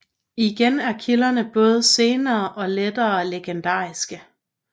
Igen er kilderne både sene og lettere legendariske